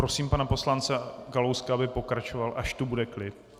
Prosím pana poslance Kalouska, aby pokračoval, až tu bude klid.